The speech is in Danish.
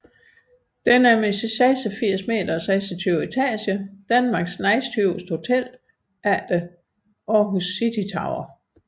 Det er med sine 86 meter og 26 etager Danmarks næsthøjeste hotel efter Aarhus City Tower